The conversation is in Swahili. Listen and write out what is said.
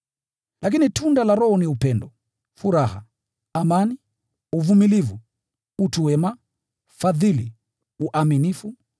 Lakini tunda la Roho ni upendo, furaha, amani, uvumilivu, utu wema, fadhili, uaminifu,